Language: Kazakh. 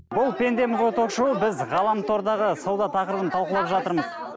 бұл пендеміз ғой ток шоуы біз ғаламтордағы сауда тақырыбын талқылап жатырмыз